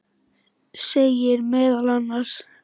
segir meðal annars